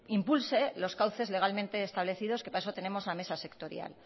impulse los cauces legalmente establecidos que para eso tenemos la mesa sectorial